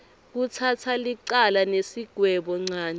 kutsatsa licala nesigwebonchanti